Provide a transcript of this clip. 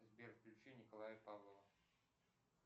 сбер включи николая павлова